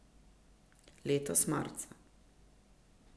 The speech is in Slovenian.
Letos marca.